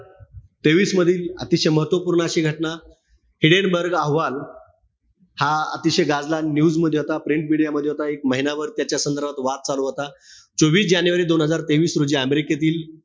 तेवीस मधील अतिशय महत्वपूर्ण अशी घटना, हिडेनबर्ग अहवाल, हा अतिशय गाजला news मध्ये होता. media मध्ये होता. एक महिनाभर त्याच्या संदर्भात वाद चालू होता. चोवीस जानेवारी दोन हजार तेवीस रोजी अमेरिकेतील,